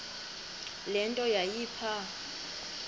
le nto yayipha